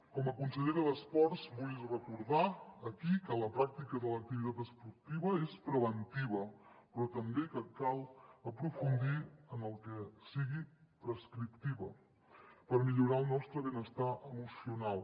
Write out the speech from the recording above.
com a consellera d’esports vull recordar aquí que la pràctica de l’activitat esportiva és preventiva però també que cal aprofundir en que sigui prescriptiva per millorar el nostre benestar emocional